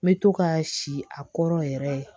N bɛ to ka si a kɔrɔ yɛrɛ